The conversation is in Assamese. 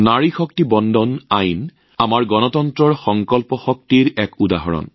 নাৰী শক্তি বন্দন অধিনিয়ম গণতন্ত্ৰৰ সংকল্পৰ শক্তি নিদৰ্শন